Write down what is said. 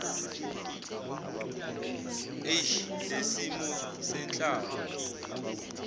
h lesimo senhlalo